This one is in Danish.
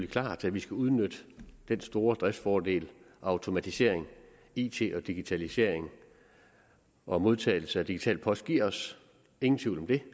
klart at vi skal udnytte den store driftsfordel automatisering it og digitalisering og modtagelse af digital post giver os ingen tvivl om det